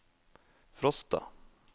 Frosta